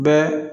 Bɛɛ